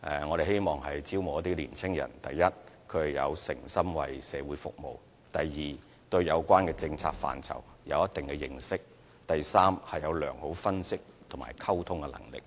我們希望招募一批年青人：第一，誠心為社會服務；第二，對有關政策範疇有一定認識；及第三，具備良好分析及溝通能力。